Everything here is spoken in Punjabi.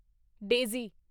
ਡੇਜ਼ੀ